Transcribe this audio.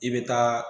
I bɛ taa